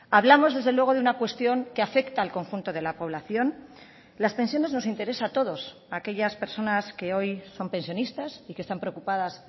hablamos desde luego de una cuestión que afecta al conjunto de la población las pensiones nos interesa a todos a aquellas personas que hoy son pensionistas y que están preocupadas